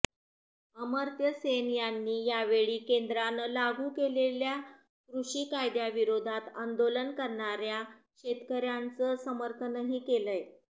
अमर्त्य सेन यांनी यावेळी केंद्रानं लागू केलेल्या कृषी कायद्याविरोधात आंदोलन करणाऱ्या शेतकऱ्यांचं समर्थनही केलंय